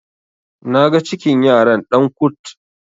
naga cikin yaran Dan kut